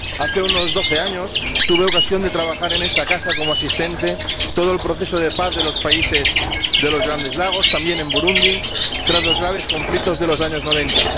Hace unos doce años, tuve ocasión de trabajar en esta casa, como asistente, sobre todo el proceso de paz de los países de los Grandes Lagos, también en Burundi, tras los graves conflictos de los años noventa.